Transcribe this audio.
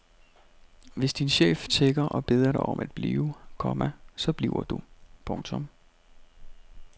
Hvis din chef tigger og beder dig om at blive, komma så bliver du. punktum